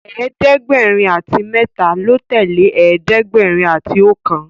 ẹ̀ẹ́dẹ̀gbẹ̀rin àti méta ló tẹlẹ ẹ̀ẹ́dẹ̀gbẹ̀rin àti okan